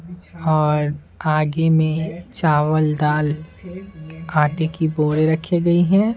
और आगे में चावल दाल आटे की बोरे रखी गई है।